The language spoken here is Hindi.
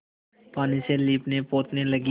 पानी से लीपनेपोतने लगी